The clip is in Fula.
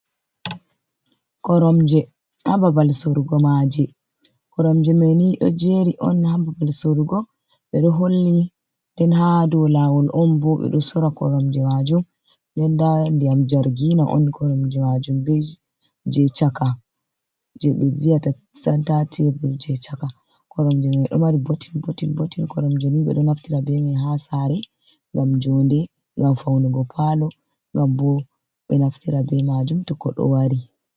Koromje ha babal sorugo maje, koromje mai ni ɗo jeri on ha babal sorugo, ɓe ɗo holli nden ha dou lawol on bo ɓe ɗo sora koromje majum, den nda diyam jargina on koromje majum, be je chaka je ɓe vi’ata santa tebul, je chaka koromje mai ɗo mari bottin bottin bottin, koromje ni ɓe ɗo naftira be mai ha sare ngam jonde, ngam faunugo palo, ngam bo ɓe naftira be majum to koɗo wari.